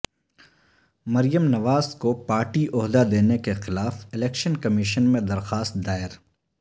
مریم نواز کو پارٹی عہدہ دینے کیخلاف الیکشن کمیشن میں درخواست دائر